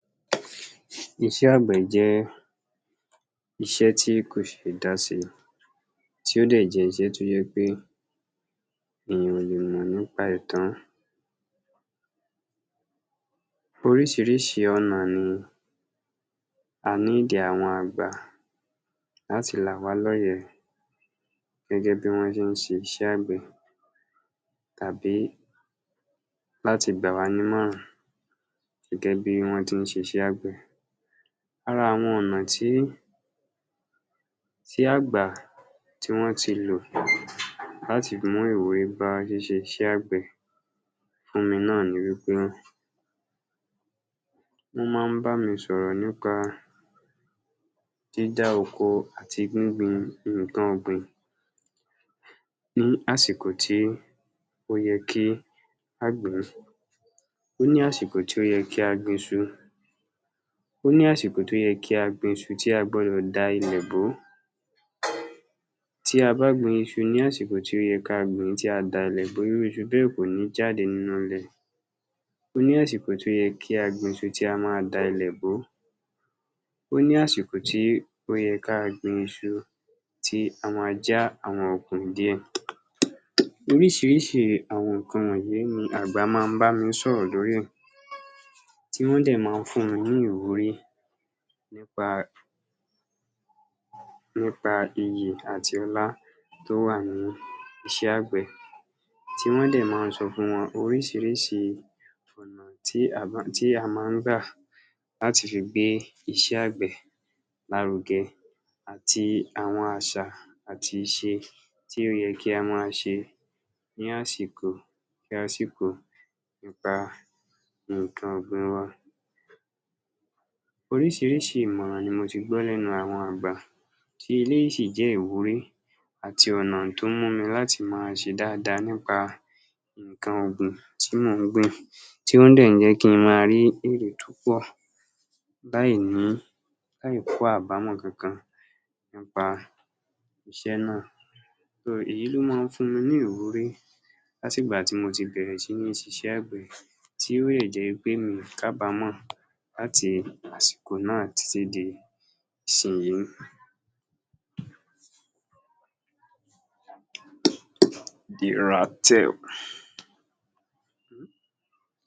Iṣé àgbẹ̀ jẹ́ iṣé tí kò ṣe é dá ṣe, tí ó dẹ̀ jẹ́ iṣẹ́ tí ó jẹ́ pé èèyàn ò lè mọ̀ nípa ẹ̀ tán. Oríṣiríṣi ọ̀nà ni a need àwọn àgbà láti là wá lóye gẹ́gẹ́ bí wọ́n ṣe ń ṣe iṣẹ́ ạgbẹ̀ tàbí làti gbà wá nímọ̀ràn gẹ́gẹ́ bí wọ́n ti ń ṣe iṣẹ́ àgbẹ̀. Ara àwọn ọ̀nà tí, tí àgbà tí wọ́n ti lò láti mú ìwúrí bá ṣíṣẹ iṣẹ́ àgbẹ̀ fún mi náà ni wípé, wọ́n máa ń bá mi sọ̀rọ̀ nípa dídá oko àti gbíngbin nǹkan ọ̀gbìn ní àsìkò tí ó yẹ kí á gbìn ín. Ó ní àsìkò tó yẹ kí a gbin iṣu, ó ní àsìkò tó yẹ kí a gbin iṣu tí a gbọ́dọ̀ da ilẹ̀ bò ó, tí a gbin iṣu ní àsìkò tí ó yẹ kí a gbìn ín tí a ò da ilẹ̀ bò ó, irú iṣu bẹ́ẹ̀ kò ní jáde nínú ilẹ̀, ó ní àsìkò tí ó yẹ kí a gbin iṣu, tí a máa da ilẹ̀ bò ó, ó ní àsìkò tó yẹ ká gbin iṣu tí a máa já àwọn okùn ìdí ẹ̀. Oríṣiríṣi àwọn nǹkan wọ̀nyí ni àgbà máa ń bá mi sọ̀rọ̀ lórí ẹ̀, tí wọ́n dẹ̀ máa ń fún mi ní ìwúrí nípa nípa iyì àti ọlá tó wà ní iṣẹ́ àgbẹ̀, tí wọ́n dẹ̀ máa ń sọ fún wa oríṣiríṣi ọ̀nà tí a máa ń gbà láti fi gbé iṣẹ́ àgbẹ̀ lárugẹ àti àwọn àṣà àti ìṣe tí ó yẹ kí a máa ṣe ní àsìkò sí àsìkò nípa nǹkan ọ̀gbìn wa. Oríṣiríṣi ìmọ̀ràn ni mo tí gbọ́ lẹ́nu àwọn àgbà, tí eléyìí sì jẹ́ ìwúrí àti ọ̀nà tó ń mú mi láti máa ṣe dáadáa nípa nǹkan ọ̀gbìn tí mò ń gbìn, tó dẹ̀ jẹ́ kí n máa ní èrè tó pọ̀ láì ní, láì kó àbámọ̀ kankan nípa iṣẹ́ náà. So, Èyí ló máa ń fún mi ní ìwúrí látìgbà tí mo ti bẹ̀rẹ̀ sí níí ṣiṣẹ́ àgbẹ̀, tí ó dẹ̀ jẹ́ wípé mi ò kábàámọ̀ láti àsìkò náà títí di ìsinyìí